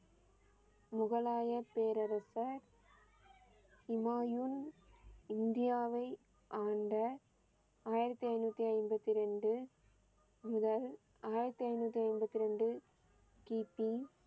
முகலாய பேரரசர் இமாயுன் இந்தியாவை ஆண்ட ஆயிரத்தி ஐநூத்தி ஐம்பத்தி இரண்டு முதல் ஆயிரத்தி ஐநூத்தி எம்பத்தி இரண்டு கி பி